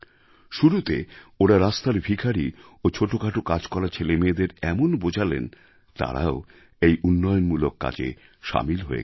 শুরুতে ওঁরা রাস্তার ভিখারি ও ছোটখাটো কাজ করা ছেলেমেয়েদের এমন বোঝালেন তারাও এই উন্নয়নমূলক কাজে সামিল হয়ে গেল